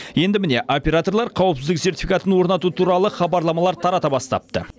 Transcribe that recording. енді міне операторлар қауіпсіздік сертификатын орнату туралы хабарламалар тарата бастапты